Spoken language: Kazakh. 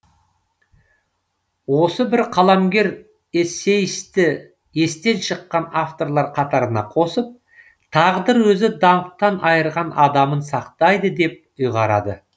осы бір қаламгер эссеисті естен шыққан авторлар қатарына қосып тағдыр өзі даңқтан айырған адамын сақтайды деп ұйғарады